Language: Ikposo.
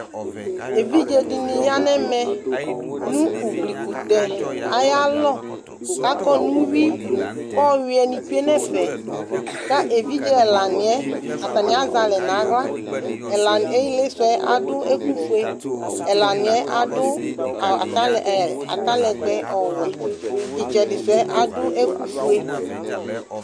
Evidze dɩnɩ ya nʋ ɛmɛ nʋ uglikʋtɛ ayalɔ kʋ akɔ nʋ uyui kʋ ɔyʋɛnɩ tsue nʋ ɛfɛ kʋ evidze ɛlanɩ yɛ, atanɩ azɛ alɛ nʋ aɣla Ɛlanɩ ɩɩlɩsʋ yɛ adʋ ɛkʋfue Ɛlanɩ yɛ adʋ ɛ atalɛ atalɛgbɛ ɔwɛ Ɩtsɛdɩsʋ yɛ adʋ ɛkʋfue